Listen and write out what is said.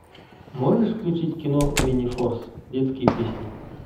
можешь включить кино минифорс детские песни